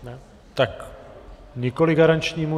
Tak nikoli garančnímu.